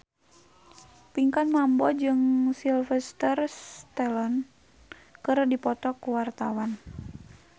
Pinkan Mambo jeung Sylvester Stallone keur dipoto ku wartawan